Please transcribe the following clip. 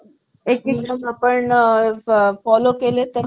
एक एक आपण follow केले तर